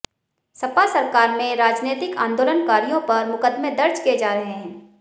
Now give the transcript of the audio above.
सपा सरकार में राजनैतिक आंदोलनकारियों पर मुकदमे दर्ज किए जा रहे हैं